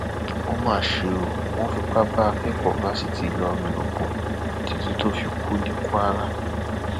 ó mà ṣe o wọn fipá bá akẹkọọ fásitì ìlọrin lò pọ títí tó fi kú ní kwara